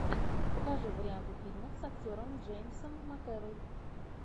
покажи варианты фильмов с актером с джеймсом макэвой